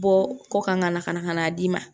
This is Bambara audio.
Bɔ kɔ kan ka na ka na ka n'a d'i ma